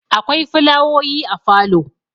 akwai fulawoyi a falo